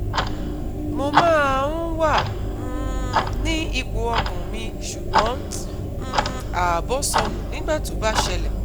mo máa ń wà um ní ipò ọkàn mi ṣùgbọ́n um ààbọ̀ sọnù nígbà tó bá ṣẹlẹ̀